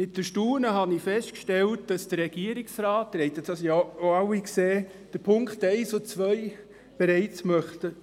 Mit Erstaunen habe ich festgestellt, dass der Regierungsrat – Sie haben es alle gesehen – die Punkte 1 und 2